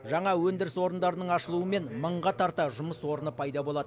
жаңа өндіріс орындарының ашылуымен мыңға тарта жұмыс орны пайда болады